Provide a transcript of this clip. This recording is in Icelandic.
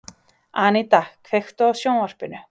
Aníta, kveiktu á sjónvarpinu.